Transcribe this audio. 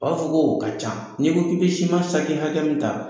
U b'a fɔ k'o ka ca n'i ko k'i bɛ siman hakɛ min ta